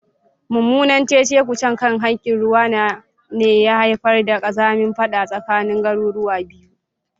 Mummunan cece-kuce kan hakkin ruwa ne ya haifar da kazamin fada tsakanin garuruwa biyu.